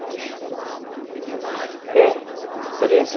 Você foi trabalhar com treze anos, né? É, treze